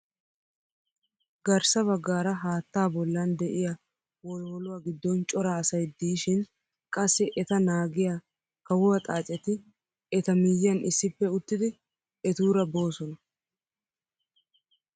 Garssa baggaara haattaa bollan de'iyaa wolwoluwaa giddon cora asay diishin qassi eta naagiyaa kaawuaa xaacetti eta miyiyaan issippe uttidi etuura boosona!